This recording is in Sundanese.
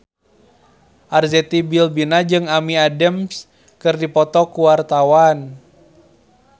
Arzetti Bilbina jeung Amy Adams keur dipoto ku wartawan